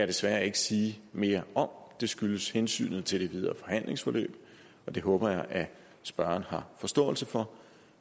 desværre ikke sige mere om det skyldes hensynet til det videre forhandlingsforløb og det håber jeg at spørgeren har forståelse for